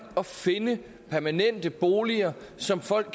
at finde permanente boliger som folk